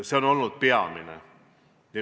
See on olnud peamine.